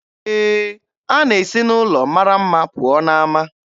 Ee, a na-esi n'ụlọ mara mma pụọ n'ama